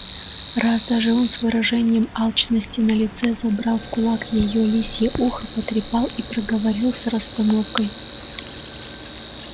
раз даже он с выражением алчности на лице забрал в кулак её лисье ухо потрепал и проговорил с расстановкой